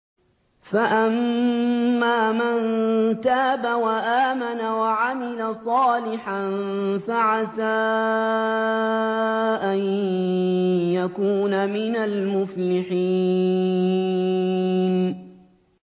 فَأَمَّا مَن تَابَ وَآمَنَ وَعَمِلَ صَالِحًا فَعَسَىٰ أَن يَكُونَ مِنَ الْمُفْلِحِينَ